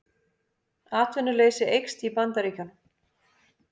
Atvinnuleysi eykst í Bandaríkjunum